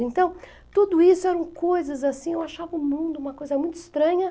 Então, tudo isso eram coisas assim, eu achava o mundo uma coisa muito estranha.